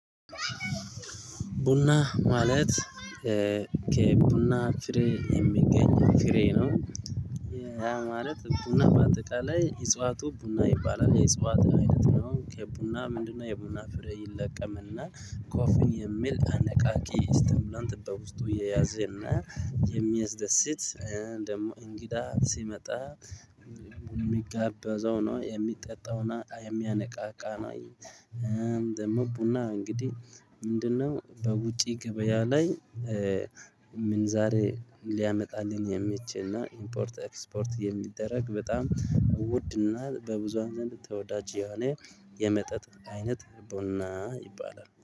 ቡና ማለት ከቡና ፍሬ የሚገኝ ፍሬ ነው። ያ ማለት ቡና በአጠቃላይ እፀዋቱ ቡና ይባላል የአጸዋት አይነት ነው ከቡና ምንድነው? የቡና ፍሬ ይለቀምና ኮፊን የሚል አነቃቂ እስቲሙላንት በውስጥ የያዘና የሚያስደስት ደግሞ እንግዳ ሲመጣ የሚጋበዘው ነው የሚጠጣውና የሚያነቃቃ ነው። ደግሞ ቡና እንግዲህ ምንድነው? በውጪ ገበያ ላይ ምን ዛሬ ሊያመጣልን የሚችል ነው። ኢምፖርት ኤክስፖርት የሚደረግ በጣም ውድ እና በብዙሃን ዘንድ ተወዳጅ የሆነ የመጠጥ አይነት ቡና ይባላል